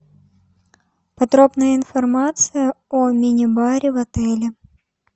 подробная информация о мини баре в отеле